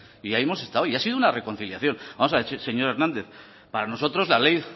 y ahí hemos estado y ha sido una reconciliación vamos a ver señor hernández para nosotros la ley